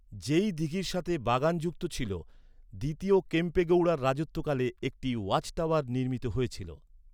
যেই দীঘির সাথে বাগান যুক্ত ছিল , দ্বিতীয় কেম্পেগৌড়ার রাজত্বকালে একটি ওয়াচটাওয়ার নির্মিত হয়েছিল।